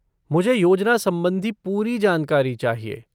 मुझे योजना संबंधी पूरी जानकारी चाहिए।